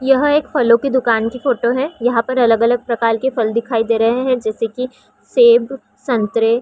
यह एक फलो की दुकान की फोटो है यहाँ अलग-अलग प्रकार की फल दिखाई दे रहे है जैसे की सेब संतरे--